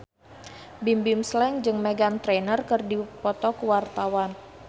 Bimbim Slank jeung Meghan Trainor keur dipoto ku wartawan